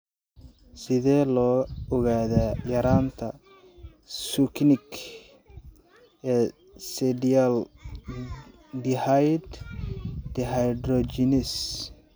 Sidee loo ogaadaa yaraanta succinic semialdehyde dehydrogenase?